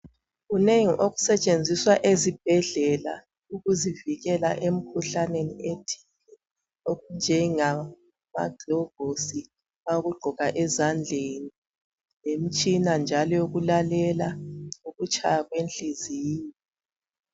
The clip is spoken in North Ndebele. Kunengi okusetshenziswa ezibhedlela ukuzivikela emkhuhlaneni ethile, okunjengamagilovusi awokugqoka ezandleni lemtshina njalo eyokulalela ukutshaya kwenhliziyo.